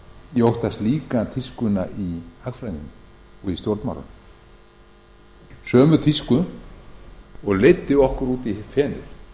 ég óttast líka tískuna í hagfræðinni og í stjórnmálunum sömu tísku og leiddi okkur út í fenið